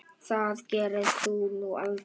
Það gerðir þú nú aldrei.